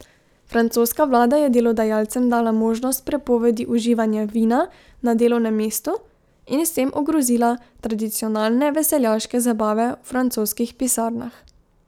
Francoska vlada je delodajalcem dala možnost prepovedi uživanja vina na delovnem mestu in s tem ogrozila tradicionalne veseljaške zabave v francoskih pisarnah.